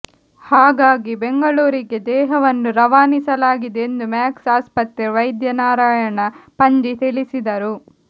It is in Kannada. ಹಾಗಾಗಿ ಬೆಂಗಳೂರಿಗೆ ದೇಹವನ್ನು ರವಾನಿಸಲಾಗಿದೆ ಎಂದು ಮ್ಯಾಕ್ಸ್ ಆಸ್ಪತ್ರೆ ವೈದ್ಯ ನಾರಾಯಣ ಪಂಜಿ ತಿಳಿಸಿದರು